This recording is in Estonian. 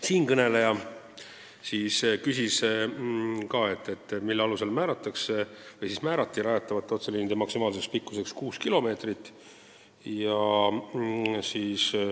Siinkõneleja küsis ka, mille alusel määrati rajatavate otseliinide maksimaalseks pikkuseks kuus kilomeetrit.